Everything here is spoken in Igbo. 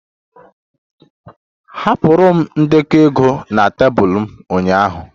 Ahapụrụ m ndekọ ego na tebụl m ụnyaahụ